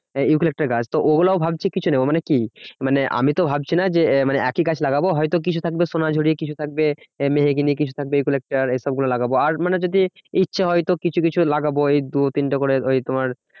Eucalyptus গাছ। তো ওগুলো ভাবছি কিছু নেবো মানে কি মানে আমিতো ভাবছি না যে একই গাছ লাগাবো। হয়তো কিছু থাকবে সোনাঝুরি কিছু থাকবে আহ মেহগিনি কিছু থাকবে ইউক্যালিপ্টাস এইসব গুলো লাগাবো। আর মানে যদি ইচ্ছে হয় তো কিছু কিছু লাগাবো এই দু তিনটে করে ওই তোমার